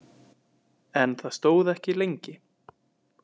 En það stóð ekki lengi.